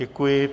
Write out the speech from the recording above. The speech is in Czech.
Děkuji.